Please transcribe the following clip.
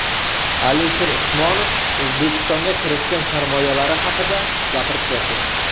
Alisher Usmonov O‘zbekistonga kiritgan sarmoyalari haqida gapirib berdi.